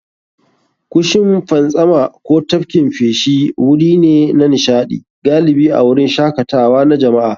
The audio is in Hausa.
Kushin fantsama ko tafkin feshi wuri ne na nishaɗi, galibi a wurin shakatawa na jama'a.